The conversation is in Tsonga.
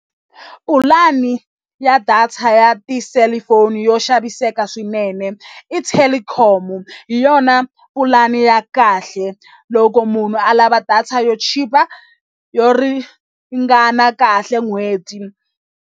Pulani ya data ya tiselifoni yo xaviseka swinene i Telkom hi yona pulani ya kahle loko munhu a lava data yo chipa yo ringana kahle n'hweti.